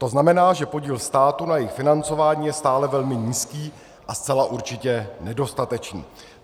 To znamená, že podíl státu na jejich financování je stále velmi nízký a zcela určitě nedostatečný.